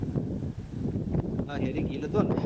Harry Gill હતોન